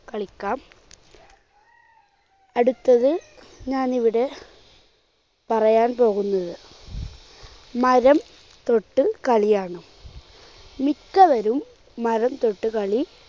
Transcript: കളിക്കാം. അടുത്തത് ഞാനിവിടെ പറയാൻ പോകുന്നത് മരം തൊട്ട് കളിയാണ്. മിക്കവരും മരം തൊട്ടുകളി